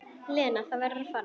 Lena, þú verður að fara!